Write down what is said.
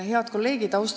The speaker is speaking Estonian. Head kolleegid!